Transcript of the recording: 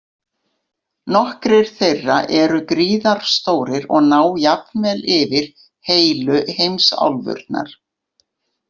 Nokkrir þeirra eru gríðarstórir og ná jafnvel yfir heilu heimsálfurnar.